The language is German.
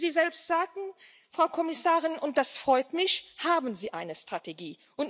Wie Sie selbst sagten, Frau Kommissarin, und das freut mich, haben Sie eine Strategie.